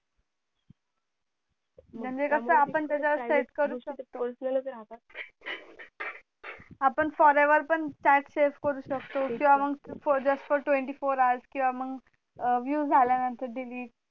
म्हणजे कसं आपण त्याच्या वर set करू शकतो आपण forever पण chatsave करू शकतो किंवा मग just for twenty four hour किंवा मग view झाल्या नंतर delate